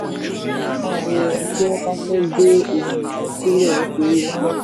ìṣòro máa nira tí wọ́n bá fẹ́ gbé ohun-ìní sílẹ̀ nítorí náírà.